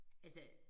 Altså